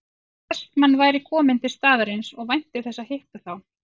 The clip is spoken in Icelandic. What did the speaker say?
Vestmann væri kominn til staðarins og vænti þess að hitta þá